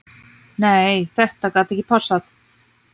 Nei þetta gat ekki passað.